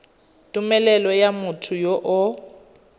tumelelo ya motho yo o